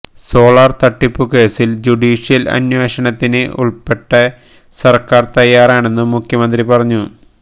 solar തട്ടിപ്പുകേസില് judicial അന്വേഷണത്തിന് ഉള്പ്പെടെ സര്ക്കാര് തയ്യാറാണെന്നും മുഖ്യമന്ത്രി പറഞ്ഞു